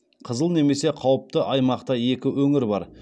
қызыл немесе қауіпті аумақта екі өңір бар